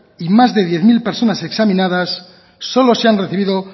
y más de diez mil personas examinadas solo se han recibido